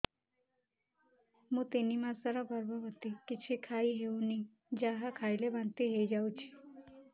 ମୁଁ ତିନି ମାସର ଗର୍ଭବତୀ କିଛି ଖାଇ ହେଉନି ଯାହା ଖାଇଲେ ବାନ୍ତି ହୋଇଯାଉଛି